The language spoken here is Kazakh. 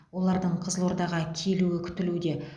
олардың қызылордаға келуі күтілуде